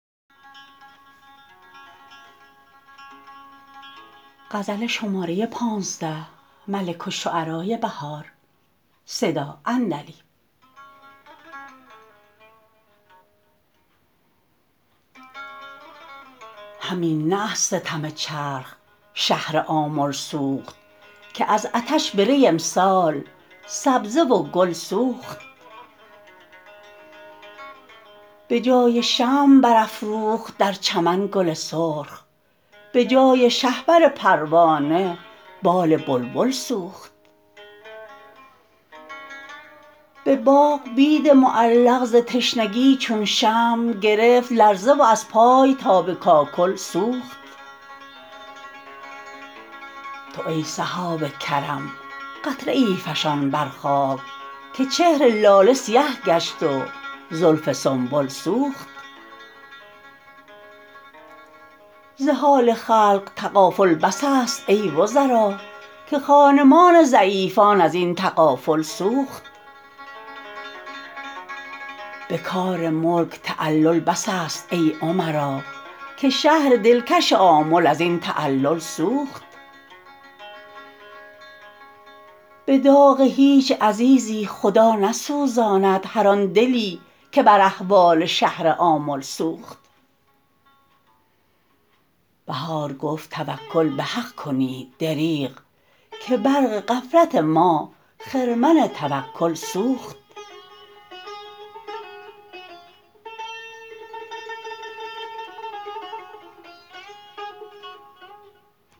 همین نه از ستم چرخ شهر آمل سوخت که از عطش به ری امسال سبزه و گل سوخت بجای شمع برافروخت در چمن گل سرخ بجای شهپر پروانه بال بلبل سوخت به باغ بید معلق ز تشنگی چون شمع گرفت لرزه و از پای تا به کاکل سوخت تو ای سحاب کرم قطره ای فشان بر خاک که چهر لاله سیه گشت و زلف سنبل سوخت ز حال خلق تغافل بس است ای وزرا که خانمان ضعیفان ازین تغافل سوخت به کار ملک تعلل بس است ای امرا که شهر دلکش آمل ازین تعلل سوخت به داغ هیچ عزیزی خدا نسوزاند هرآن دلی که بر احوال شهر آمل سوخت بهار گفت توکل به حق کنید دریغ که برق غفلت ما خرمن توکل سوخت